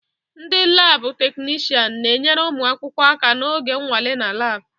Ndị laabụ̀ teknishian na-enyere ụmụ akwụkwọ aka n'oge nnwale na laabụ̀.